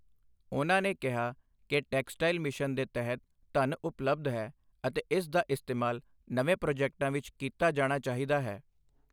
ਉਨ੍ਹਾਂ ਨੇ ਕਿਹਾ ਕਿ ਟੈਕਸਟਾਈਲ ਮਿਸ਼ਨ ਦੇ ਤਹਿਤ ਧਨ ਉਪਬਲਧ ਹੈ ਅਤੇ ਇਸ ਦਾ ਇਸਤੇਮਾਲ ਨਵੇਂ ਪ੍ਰੋਜੈਕਟਾਂ ਵਿੱਚ ਕੀਤਾ ਜਾਣਾ ਚਾਹੀਦਾ ਹੈ।